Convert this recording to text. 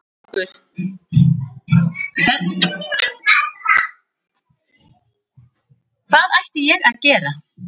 Hvað ætti ég að gera?